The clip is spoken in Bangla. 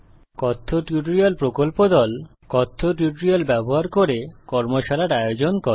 কথ্য টিউটোরিয়াল প্রকল্প দল কথ্য টিউটোরিয়াল ব্যবহার করে কর্মশালার আয়োজন করে